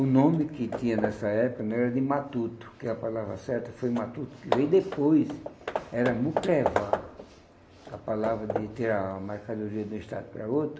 O nome que tinha nessa época não era de matuto, que a palavra certa foi matuto, que veio depois, era mucrevá, a palavra de tirar a mercadoria de um estado para outro,